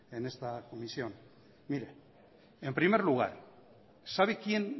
en esta comisión mire en primer lugar sabe quién